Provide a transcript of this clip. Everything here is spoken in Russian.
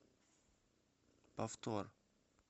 повтор